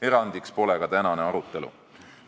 Erandiks pole ka tänane arutelu.